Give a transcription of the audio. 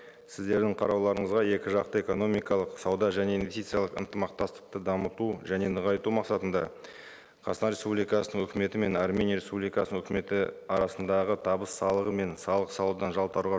сіздердің қарауларыңызға екі жақты экономикалық сауда және инвестициялық ынтымақтастықты дамыту және нығайту мақсатында қазақстан республикасының өкіметі мен армения республикасының өкіметі арасындағы табыс салығы мен салық салудан жалтаруға